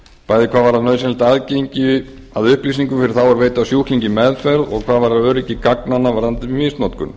bæði hvað varðar nauðsynlegt aðgengi að upplýsingum fyrir þá er veita sjúklingi meðferð og hvað varðar öryggi gagnanna varðandi misnotkun